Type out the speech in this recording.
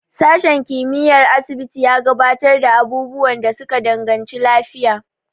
Sashen kimiyyar asibiti ya gabatar da abubuwan da suka danganci lafiya.